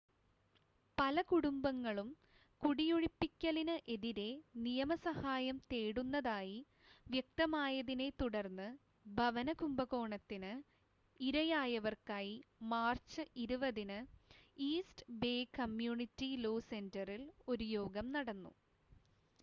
പല കുടുംബങ്ങളും കുടിയൊഴിപ്പിക്കലിന് എതിരെ നിയമ സഹായം തേടുന്നതായി വ്യക്തമായതിനെ തുടർന്ന് ഭവന കുംഭകോണത്തിന് ഇരയായവർക്കായി മാർച്ച് 20-ന് ഈസ്റ്റ് ബേ കമ്മ്യൂണിറ്റി ലോ സെൻ്ററിൽ ഒരു യോഗം നടന്നു